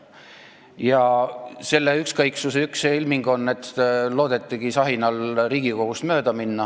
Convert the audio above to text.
Ja selle ükskõiksuse üks ilming on seegi, et loodeti sahinal Riigikogust mööda minna.